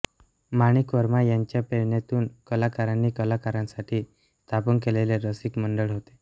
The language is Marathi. माणिक वर्मा यांच्या प्रेरणेतून कलाकारांनी कलाकारांसाठी स्थापन केलेले रसिक मंडळ होते